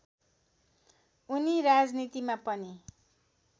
उनी राजनीतिमा पनि